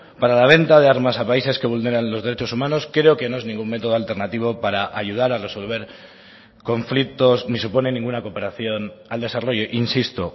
para la venta de armas a países que vulneran los derechos humanos creo que no es ningún método alternativo para ayudar a resolver conflictos ni supone ninguna cooperación al desarrollo insisto